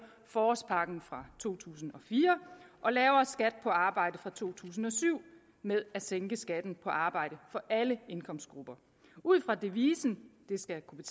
forårspakken fra to tusind og fire og lavere skat på arbejde fra to tusind og syv med at sænke skatten på arbejde for alle indkomstgrupper ud fra devisen det skal kunne